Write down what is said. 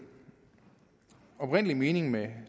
oprindelige mening med